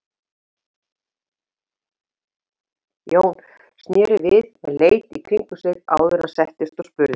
Jón sneri við en leit í kringum sig áður en hann settist og spurði